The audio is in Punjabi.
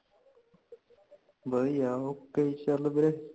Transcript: ਵਦੀਆਂ ,ok ਚਾਲ ਵੀਰੇ